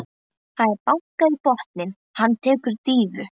Það er bankað í botninn, hann tekur dýfu.